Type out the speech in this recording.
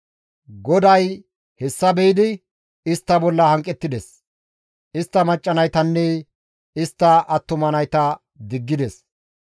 «GODAY hessa be7idi istta bolla hanqettides; istta macca naytanne istta attuma nayta diggides.